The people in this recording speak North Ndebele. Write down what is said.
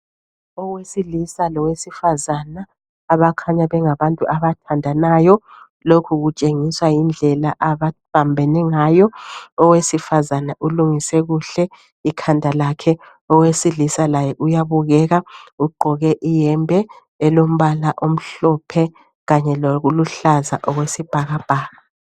Owesilisa lowesifazana abakanya bengabantu abathandanayo lokhu kutshengiswa yindlela ababambene ngayo. Owesifazana ulungise kuhle ikhanda lakhe, owesilisa laye uyabukeka ugqoke iyembe elombala omhlophe kanye loluhlaza okwesibhakabhaka.